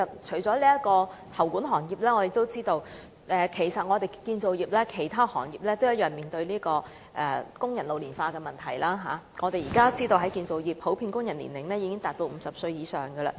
此外，除喉管行業外，我們知道建造業的其他行業亦面對工人老齡化的問題，現時建造業工人平均年齡已達50歲以上。